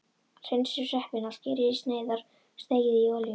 Hreinsið sveppina, skerið í sneiðar og steikið í olíu.